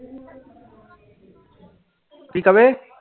ਕੀ ਕਵੇ?